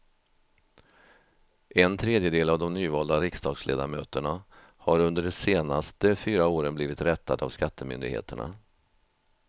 En tredjedel av de nyvalda riksdagsledamöterna har under de senaste fyra åren blivit rättade av skattemyndigheterna.